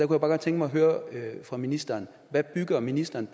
kunne bare godt tænke mig at høre fra ministeren hvad bygger ministeren